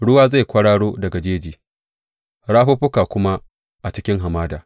Ruwa zai kwararo daga jeji rafuffuka kuma a cikin hamada.